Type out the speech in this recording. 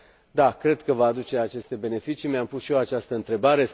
Da, cred că va aduce aceste beneficii. Mi am pus și eu această întrebare.